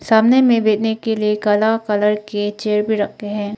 सामने में बैठने के लिए काला कलर के चेयर भी रखे हैं।